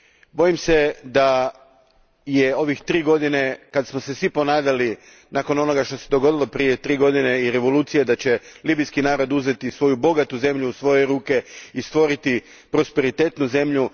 Bojim se da je ove tri godine kad smo se svi ponadali, nakon onoga što se dogodilo prije tri godine i revolucije, da će libijski narod uzeti svoju bogatu zemlju u svoje ruke i stvoriti prosperitetnu zemlju.